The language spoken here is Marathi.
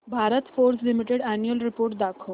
Bharat Forge limited annual report दाखव